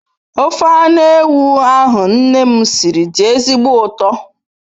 Ofe anu ewu ahu nne m siri di ezigbo uto